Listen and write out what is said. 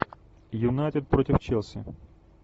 юнайтед против челси